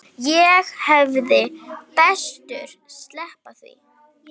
Ég hefði betur sleppt því.